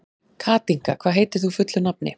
Katinka, hvað heitir þú fullu nafni?